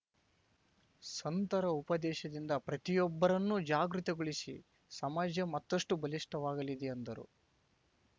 ಸಂತರ ಉಪದೇಶದಿಂದ ಪ್ರತಿಯೊಬ್ಬರನ್ನೂ ಜಾಗೃತಿ ಗೊಳಿಸಿ ಸಮಾಜ ಮತ್ತಷ್ಟುಬಲಿಷ್ಠವಾಗಲಿದೆ ಎಂದರು